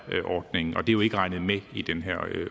ordningen og det er jo ikke regnet med i den her